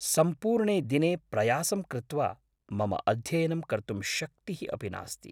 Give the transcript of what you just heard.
सम्पूर्णे दिने प्रयासं कृत्वा, मम अध्ययनं कर्तुं शक्तिः अपि नास्ति।